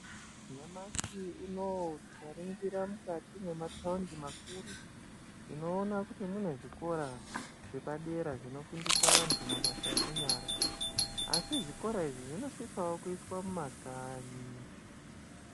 Nyashi unouyu tikaringira mukati mwemataundi makuru. Tinoona kuti munezvikora zvepadera zvinofundisa vantu mabasa enyara. Asi zvikora izvi zvinosisavo kuiswa mumakanyi.